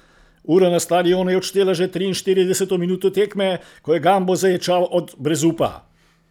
Ura na stadionu je odštela že triinštirideseto minuto tekme, ko je Gambo zaječal od brezupa.